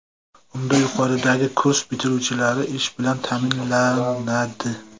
Unda yuqoridagi kurs bitiruvchilari ish bilan ta’minlanadi.